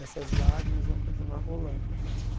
Essas lágrimas vão continuar rolando.